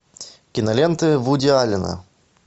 киноленты вуди аллена